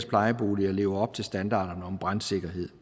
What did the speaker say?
plejeboliger lever op til standarden om brandsikkerhed